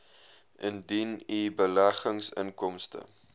indien u beleggingsinkomste